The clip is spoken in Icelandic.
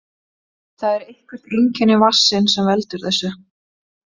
Það er eitthvert einkenni vatnsins sem veldur þessu.